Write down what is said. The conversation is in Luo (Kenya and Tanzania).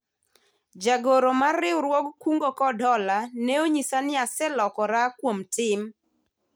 jagoro mar riwruog kungo kod hola ne onyisa ni aselokora kuom tim